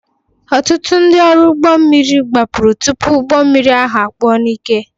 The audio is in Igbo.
Ọtụtụ ndị ọrụ ụgbọ mmiri gbapụrụ tupu ụgbọ mmiri ahụ kpuo n'ike